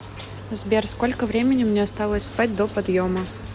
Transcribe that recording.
сбер сколько времени мне осталось спать до подъема